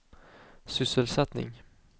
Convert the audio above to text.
sysselsättning